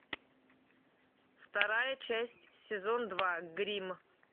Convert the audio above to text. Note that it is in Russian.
вторая часть сезон два гримм